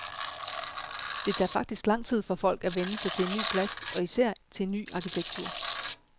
Det tager faktisk lang tid for folk at vænne sig til en ny plads og især til en ny arkitektur.